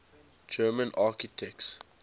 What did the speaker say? german architects